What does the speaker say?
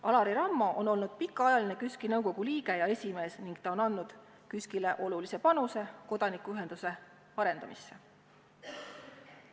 Alari Rammo on olnud pikaajaline KÜSK-i nõukogu liige ja esimees ning ta on andnud olulise panuse kodanikuühenduse arendamisse.